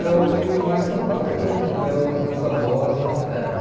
Eu tive mais contato com meu meus avós maternos.